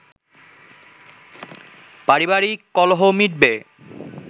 পারিবারিক কলহ মিটবে